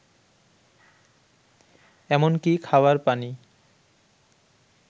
এমনকি খাওয়ার পানি